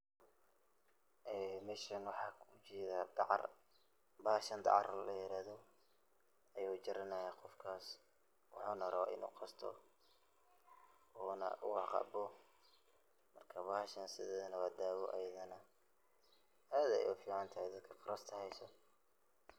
Ee meshan waxan ogajeda dacar, maxadhan dacar layirahdo ayu jaranaya gofkas wuxuna rawaa inu qasto, una cabo marka bahadhan sidedabo dawa ayadana, aad ay uficantehe dadka qarasta hayso.